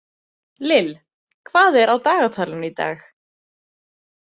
Lill, hvað er á dagatalinu í dag?